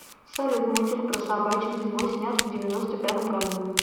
салют мультик про собачек зимой снят в девяносто пятом году